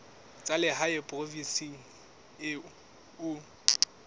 tsa lehae provinseng eo o